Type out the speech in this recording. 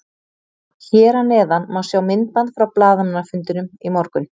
Hér að neðan má sjá myndband frá blaðamannafundinum í morgun.